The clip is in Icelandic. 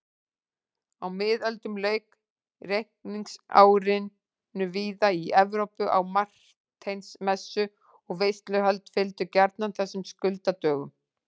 Á miðöldum lauk reikningsárinu víða í Evrópu á Marteinsmessu og veisluhöld fylgdu gjarnan þessum skuldadögum.